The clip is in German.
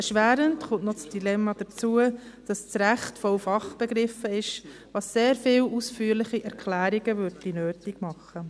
Erschwerend kommt noch das Dilemma hinzu, dass das Recht voller Fachbegriffe ist, wodurch sehr viele ausführliche Erklärungen nötig würden.